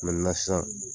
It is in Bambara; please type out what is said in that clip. sisan